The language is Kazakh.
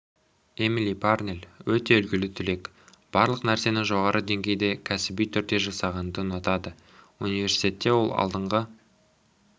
эмили парнель өте үлгілі түлек барлық нәрсені жоғары деңгейде кәсіби түрде жасағанды ұнатады университетте ол алдыңғы